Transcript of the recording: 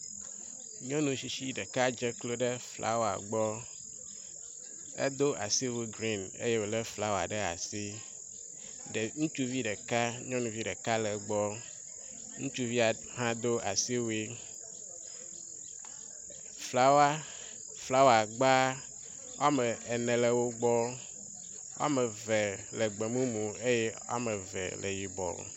Nyɔnu tsitsi ɖeka dze klo ɖe flawa gbɔ. Edo asiwu grin eye wo le flawa ɖe asi. Ɖe ŋutsuvi ɖeka nyɔnuvi ɖeka le egbɔ. Ŋutsuvia hã do asiwui. Flawa flawagba ame ene le wo gbɔ. Wɔme eve le gbemumu eye ame eve le yibɔ.